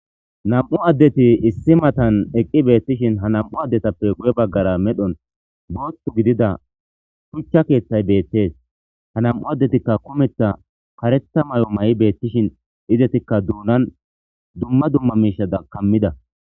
Nam7u addeti issi matan eqqi beettishin ha nam7u addetappe guye baggara medhon booththu gidida shuchcha keeththay beettes ha nam7u addetikka kumetha karetha may7o may7i beettishin izetikka duunan dumma dumma miishada kammida.